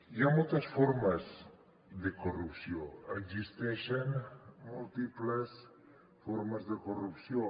hi ha moltes formes de corrupció existeixen múltiples formes de corrupció